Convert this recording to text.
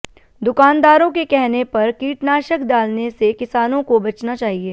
दुकानदारों के कहने पर कीटनाशक डालने से किसानों को बचना चाहिए